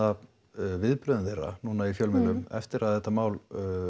viðbrögðin þeirra núna í fjölmiðlum eftir að þetta mál